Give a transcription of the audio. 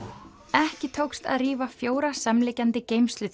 ekki tókst að rífa fjóra samliggjandi